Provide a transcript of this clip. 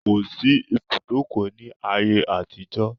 Kò sí ibùdókọ̀. ní ayé àtijó.